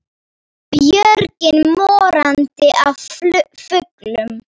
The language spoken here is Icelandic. Björgin morandi af fuglum.